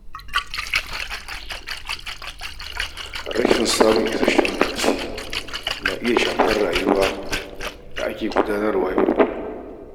Rashin samun isashen bacci na iya shafar yadda ake gudanar da rayuwar yau da kullum.